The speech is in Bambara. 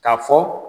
K'a fɔ